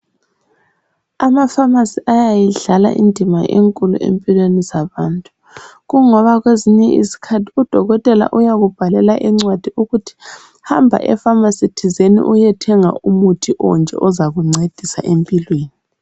Ama phamarcy ayayidlala indima enkulu empilweni zabantu, kungoba kwezinye izikhathi udokotela uyakubhalela incwadi ukuthi hamba e phamarcy thizeni uyethenga umuthi onje ozakungcedisa empilweni.